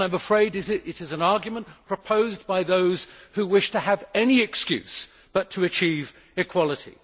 I am afraid it is an argument proposed by those who wish to have any excuse not to achieve equality.